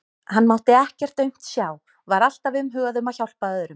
Hann mátti ekkert aumt sjá, var alltaf umhugað um að hjálpa öðrum.